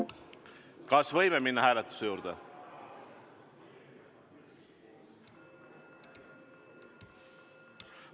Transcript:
Kas võime minna hääletuse juurde?